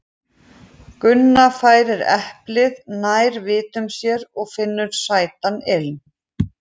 Gunna færir eplið nær vitum sér og finnur sætan ilminn.